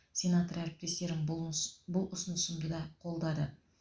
сенатор әріптестерім бұл ұс бұл ұсынысымды да қолдады